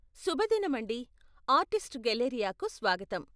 శుభదినమండీ, artist గెలేరియాకి స్వాగతం.